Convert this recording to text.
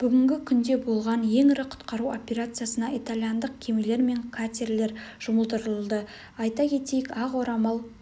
бүгінгі күнде болған ең ірі құтқару операциясына итальяндық кемелер мен катерлер жұмылдырылды айта кетейік ақ орамал